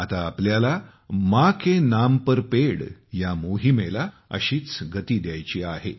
आता आपल्याला माँ के नाम पर पेड़ या मोहिमेला अशीच गती द्यायची आहे